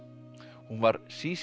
hún var